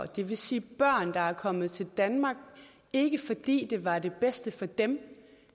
det vil sige børn der er kommet til danmark ikke fordi det var det bedste for dem